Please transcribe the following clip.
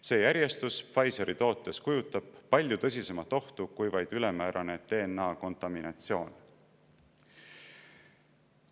See järjestus Pfizeri tootes kujutab palju tõsisemat ohtu kui vaid ülemäärane DNA-kontaminatsioon.